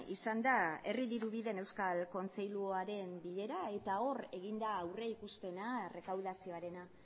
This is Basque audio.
izan da izan da herri dirubideen euskal kontseiluaren bilera eta hor egin da aurrikuspena errekaudazioarena